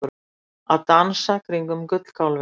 Að dansa kringum gullkálfinn